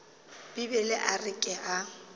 bibele a re ke a